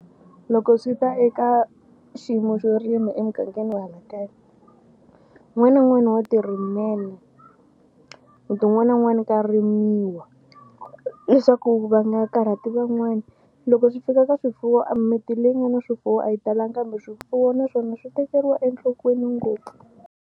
Loko swi ta eka xiyimo xo rima emugangeni wa hala kaya un'wana na un'wana wa tirimela. Muti wun'wana na wun'wana ka rimiwa leswaku va nga karhati van'wani. Loko swi fika ka swifuwo a mimiti leyi nga na swifuwo a yi talangi kambe swifuwo naswona swi tekeriwa enhlokweni ngopfu.